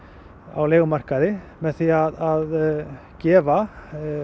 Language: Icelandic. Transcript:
á leigumarkaði með því að gefa